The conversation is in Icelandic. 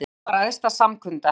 Lögrétta var æðsta samkunda